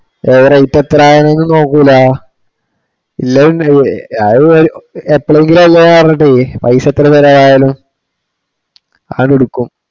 ഓൻ റേറ്റ് എത്രന്നൊന്നും നോക്കൂല്ല. എല്ലാം ആള് എപ്പോളെങ്കിലും ഉള്ള കരണവേ പൈസ എത്ര ചിലവായാലും അതെടുക്കും.